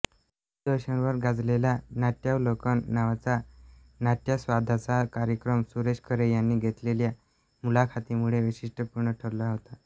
दूरदर्शनवर गाजलेला नाट्यावलोकन नावाचा नाट्यास्वादाचा कार्यक्रम सुरेश खरे यांनी घेतलेल्या मुलाखतींमुळे वैशिष्ट्यपूर्ण ठरला होता